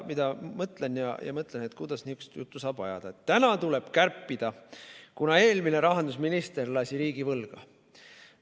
Ma mõtlen ja mõtlen, et kuidas saab ajada niisugust juttu, et täna tuleb kärpida, kuna eelmine rahandusminister lasi riigi võlgadesse.